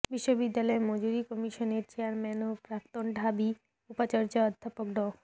বিশ্ববিদ্যালয় মঞ্জুরি কমিশনের চেয়ারম্যান ও প্রাক্তন ঢাবি উপাচার্য অধ্যাপক ড